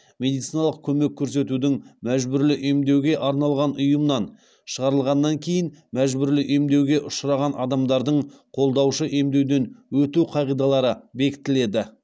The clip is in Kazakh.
медициналық көмек көрсетудің мәжбүрлі емдеуге арналған ұйымнан шығарылғаннан кейін мәжбүрлі емдеуге ұшыраған адамдардың қолдаушы емдеуден өту қағидалары бекітіледі